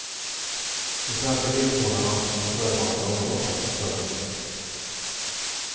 De svenska viltvårdarna var förvarnade om flocken. punkt